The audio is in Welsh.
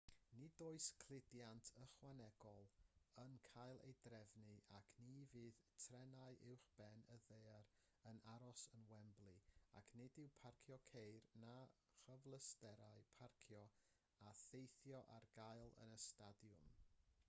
nid oes cludiant ychwanegol yn cael ei drefnu ac ni fydd trenau uwchben y ddaear yn aros yn wembley ac nid yw parcio ceir na chyfleusterau parcio a theithio ar gael yn y stadiwm